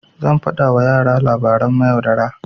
Zan faɗa wa yara na labaran mayaudara.